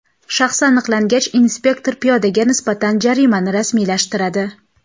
Shaxsi aniqlangach, inspektor piyodaga nisbatan jarimani rasmiylashtiradi.